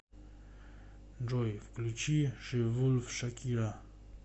джой включи ши волф шакира